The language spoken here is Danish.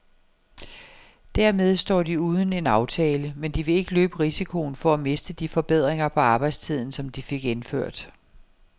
Dermed står de uden en aftale, men de vil ikke løbe risikoen for at miste de forbedringer på arbejdstiden, som de fik indført.